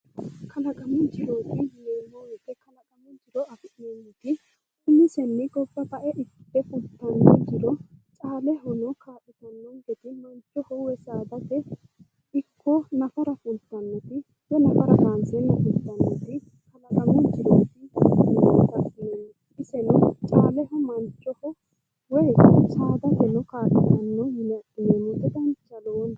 kalaqamu jiro yineemmo wote umisenni gobba bae ikkite fultanno jiro caalehono kaa'litannonkete manchono woyi saadate nafara fultannoti woy kaanseenna fultannoti kalaqamu jirooti yine adhinanni caaleho manchoho woyi saadate kaa'litanno yine adhineemmote danchaho lowonta.